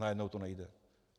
Najednou to nejde.